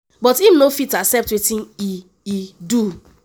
but im no fit “accept wetin e e do.”